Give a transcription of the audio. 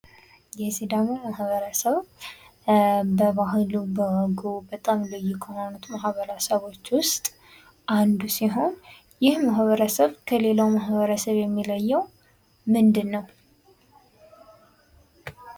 የሲዳሞ ማህበረሰብ በባህሉ በጣም ልዩ ከሆኑት ማህበረሰቦች ውስጥ አንደኛው ሲሆን ይህ ማህበረሰብ ከሌላው ማህበረሰብ የሚለየው ምንድነው?